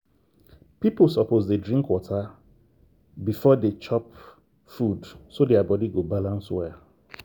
people suppose dey drink water beforedey chop food so their body go balance well.